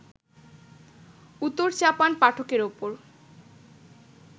উতোর-চাপান পাঠকের ওপর